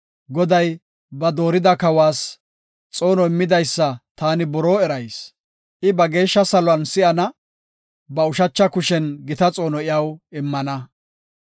Goday ba doorida kawas, xoono immidaysa taani buroo erayis. I ba geeshsha saluwan si7ana; ba ushacha kushen gita xoono iyaw immana.